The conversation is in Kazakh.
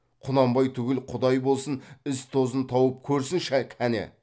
құнанбай түгіл құдай болсын із тозын тауып көрсінші кәне